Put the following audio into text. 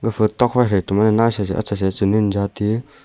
gafa tokphai daito man nawsasa achasa chi nin za taiyu.